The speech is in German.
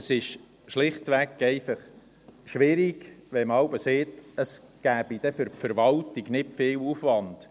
Es ist schlichtweg schwierig, wenn man sagt, es gäbe für die Verwaltung nicht viel Aufwand.